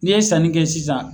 N'i ye sanni kɛ sisan